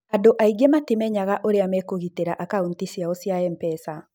Andũ aingĩ matimenyaga ũrĩa mekũgitĩra akaũnti ciao cia M-pesa.